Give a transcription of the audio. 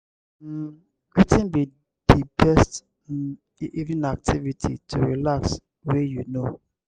um wetin be di best um evening activity to relax wey you know?